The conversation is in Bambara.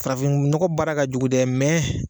Farafin nɔgɔ baara ka jugu dɛ